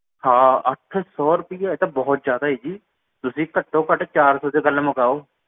ਹਾਂ ਅੱਠ ਸੌ ਰੁਪਇਆ ਇਹ ਤਾਂ ਬਹੁਤ ਜ਼ਯਾਦਾ ਏ ਜੀ ਤੁਸੀਂ ਘਟੋਂ ਘਟੋਂ ਚਾਰ ਸੌ ਚ ਗੱਲ ਮੁਕਾਓ